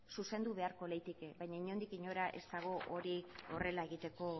zuzendu beharko litzateke baina inondik inora ez dago hori horrela egiteko